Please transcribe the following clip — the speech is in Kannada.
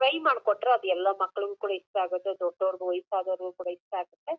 ಫ್ರೈ ಮಾಡಿ ಕೊಟ್ರೆ ಅದು ಎಲ್ಲ ಮಕ್ಕಳುಗು ಕೂಡ ಇಷ್ಟ ಆಗುತ್ತೆ ದೊಡ್ದವರುಗೂ ವೈಯ್ಸದವರಿಗೂ ಕೂಡ ಇಷ್ಟ ಆಗುತ್ತೆ.